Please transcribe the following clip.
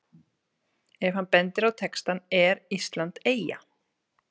Ef hann bendir á textann ER ÍSLAND EYJA?